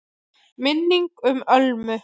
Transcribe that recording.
MINNINGIN UM ÖLMU